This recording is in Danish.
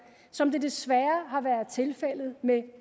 som det desværre har været tilfældet med